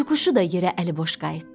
Tutuquşu da yerə əliboş qayıtdı.